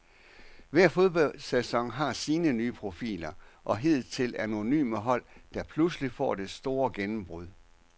Hver fodboldsæson har sine nye profiler og hidtil anonyme hold, der pludselig får det store gennembrud.